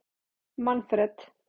Manfred